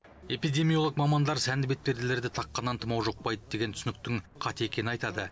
эпидемиолог мамандар сәнді бетперделерді таққаннан тұмау жұқпайды деген түсініктің қате екенін айтады